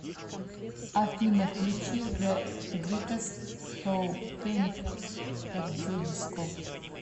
афина включи зэ гритэст шоу пэник эт зэ диско